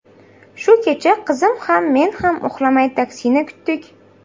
Shu kecha qizim ham, men ham uxlamay taksini kutdik.